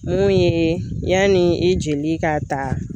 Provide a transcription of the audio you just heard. Mun ye yanni i jeli ka ta